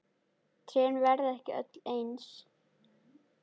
Trén verða ekki öll eins.